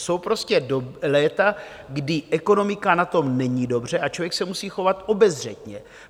Jsou prostě léta, kdy ekonomika na tom není dobře a člověk se musí chovat obezřetně.